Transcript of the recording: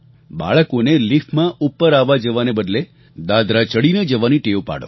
બાળકોને લિફ્ટમાં ઉપર આવવાજવાના બદલે દાદરા ચડીને જવાની ટેવ પાડો